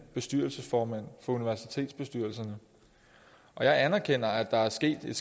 bestyrelsesformændene for universitetsbestyrelserne og jeg anerkender at der er sket et